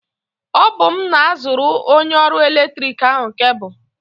Ọbụm na-azụrụ onye ọrụ eletrik ahụ kebụlụ.